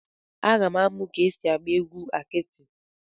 M ga-amụ ka esi agba egwu akiti.